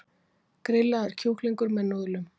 Grillaður kjúklingur með núðlum